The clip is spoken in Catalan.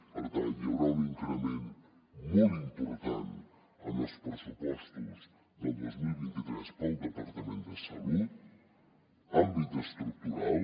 per tant hi haurà un increment molt important en els pressupostos del dos mil vint tres per al departament de salut àmbit estructural